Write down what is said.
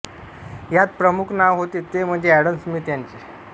ह्यांत प्रमुख नाव होते ते म्हणजे ऍडम स्मिथ ह्यांचे